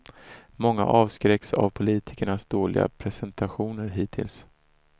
Många avskräcks av politikernas dåliga prestationer hittills.